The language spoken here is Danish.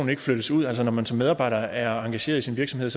ikke flyttes ud altså når man som medarbejder er engageret i sin virksomhed